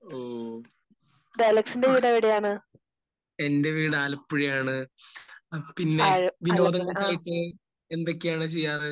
ഓഹ്. എന്റെ വീട് ആലപ്പുഴയാണ്. പിന്നെ വിനോദങ്ങൾക്കായിട്ട് എന്തൊക്കെയാണ് ചെയ്യാറ്?